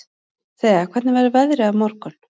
Thea, hvernig verður veðrið á morgun?